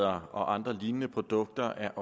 og andre lignende produkter er